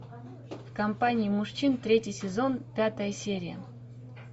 в компании мужчин третий сезон пятая серия